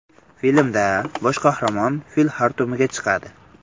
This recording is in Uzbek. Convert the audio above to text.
Filmda bosh qahramon fil xartumiga chiqadi.